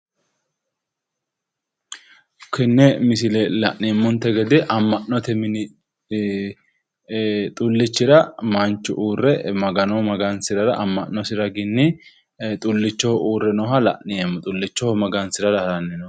Tenne misile la'neemmote gede amma'note mini xullichira manchu uurre magano magansirara amma'nosi raginni xullichoho uurre nooha la'neemmo xullichoho magansirara haranni nooha.